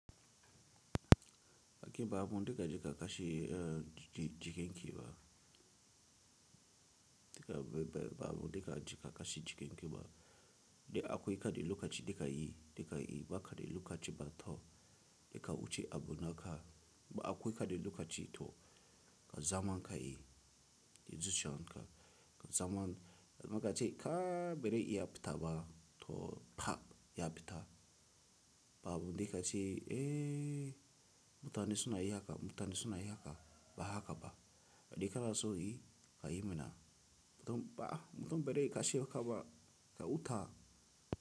Kake babu dika jika kashi jiken ki ba, dika babu dika jika kashi jiken ki ba, da akwai kade lokaci dika yi, dika yi, ba kade lokaci ba tau dika wuce abu naka, ba akwai kade lokaci to ka zaman ka yi, izuciyan ka, ka zaman, maka ce ka bere iya fita ba, to fa ya fita, babu dika ce eh, mutane suna yi haka, mutane suna yi haka, ba haka ba, dika na so yi ka yi mana, mutum ba, mutum bere kashe ka ba, ka huta.